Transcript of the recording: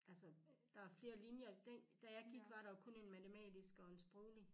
Altså der er flere linjer den da jeg gik var der jo kun en matematisk og en sproglig